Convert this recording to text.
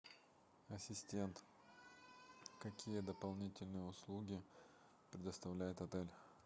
ассистент какие дополнительные услуги предоставляет отель